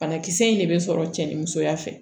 Banakisɛ in de bɛ sɔrɔ cɛ ni musoya fɛ